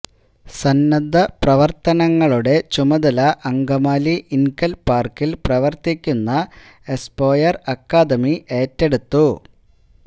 സന്നദ്ധ പ്രവർത്തനങ്ങളുടെ ചുമതല അങ്കമാലി ഇൻകൽ പാർക്കിൽ പ്രവർത്തിക്കുന്ന എസ്പോയർ അക്കാദമി ഏറ്റെടുത്തു